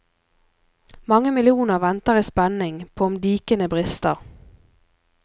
Mange millioner venter i spenning på om dikene brister.